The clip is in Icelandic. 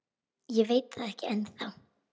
Ég veit það ekki ennþá.